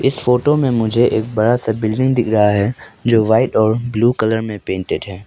इस फोटो में मुझे एक बड़ा सा बिल्डिंग दिख रहा है जो वाइट और ब्लू कलर में पेंटेड है।